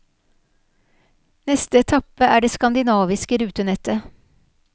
Neste etappe er det skandinaviske rutenettet.